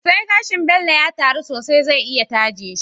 Sai gashin Bello ya taru sosai zai iya taje shi